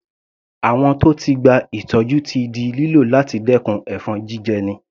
Àwọ̀n tó ti gba ìtọ́jú ti di lílò láti dẹkùn ẹ̀fọn jíjẹni.